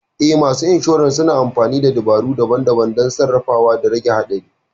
Eh, masu insurer suna amfani da dabaru daban-daban don sarrafawa da rage haɗari.